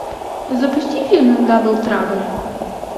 запусти фильм дабл трабл